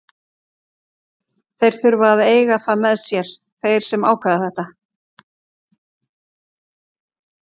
Þeir þurfa að eiga það með sér, þeir sem ákveða þetta.